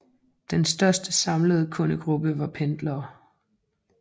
Den største samlede kundegruppe var pendlere